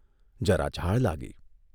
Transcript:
જરા ઝાળ લાગી.